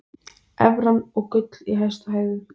Evran og gull í hæstu hæðum